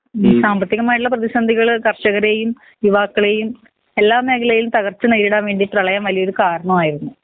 ഈ സാമ്പത്തികമായട്ട്ള്ള പ്രേധിസന്ധികൾ കർഷകരെയും യുവാക്കളെയും എല്ലാ മേഖലയിലും തകർച്ച നേരിടാൻ വേണ്ടി പ്രെളയം വല്യൊരു കാരണമായിരുന്നു.